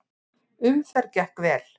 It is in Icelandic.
Umferð gekk vel.